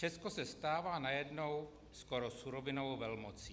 Česko se stává najednou skoro surovinovou velmocí.